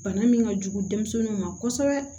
Bana min ka jugu denmisɛnninw ma kosɛbɛ